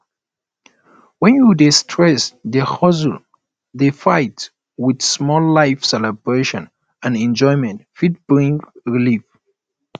when you dey stress dey hustle dey fight with life small celebration and enjoyment fit bring relief